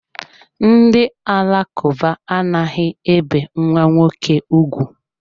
Ndị Alakụba anaghị ebi nwa nwoke ugwu.